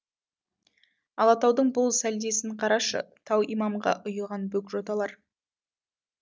алатаудың бұл сәлдесін қарашы тау имамға ұйыған бөк жоталар